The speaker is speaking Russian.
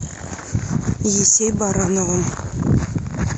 есей барановым